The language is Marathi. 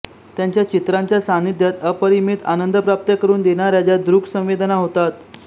त्यांच्या चित्रांच्या सान्निध्यात अपरिमित आनंद प्राप्त करून देणाऱ्या ज्या दृक् संवेदना होतात